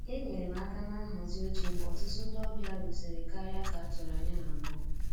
Enyere m aka na nhazi oche mgbe ọtụtụ ndị ọbịa rutere karịa ka a tụrụ anya na mbụ